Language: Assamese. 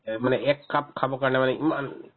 এই মানে এককাপ খাবৰ কাৰণে মানে ইমান